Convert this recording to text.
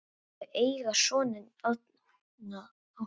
Þau eiga soninn Arnþór Ása.